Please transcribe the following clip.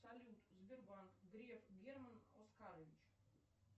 салют сбербанк греф герман оскарович